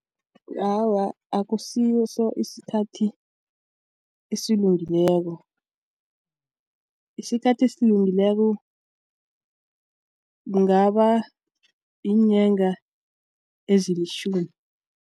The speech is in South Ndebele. Awa, akusiso isikhathi esilungileko isikhathi esilungileko kungaba yiinyanga ezilitjhumi.